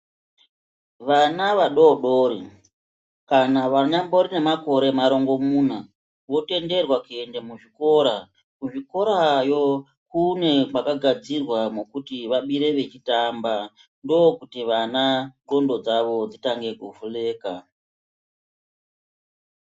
Vana vadodori, kana vanyambori nemakore marongomuna, votenderwa kuende muzvikora. Kuzvikorayo kune kwakagadzirwa mwekuti vabire vachitamba, ndokuti vana ndxondo dzavo dzitange kuvhuleka.